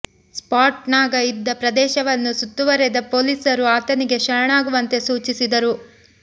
spot ನಾಗ ಇದ್ದ ಪ್ರದೇಶವನ್ನು ಸುತ್ತುವರೆದ ಪೊಲೀಸರು ಆತನಿಗೆ ಶರಣಾಗುವಂತೆ ಸೂಚಿಸಿದರು